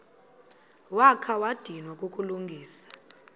wakha wadinwa kukulungisa